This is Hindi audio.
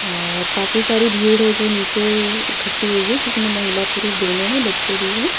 और काफी सारी भीड़ है जो नीचे इकट्ठी हुई है जिसमें महिला पुरुष दोनों हैं बच्चे भी हैं।